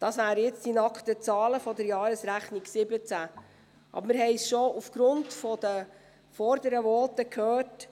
Das wären jetzt die nackten Zahlen der Jahresrechnung 2017, aber wir haben es schon aufgrund der vorherigen Voten gehört: